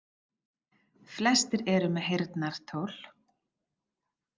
Flestir eru með heyrnartól.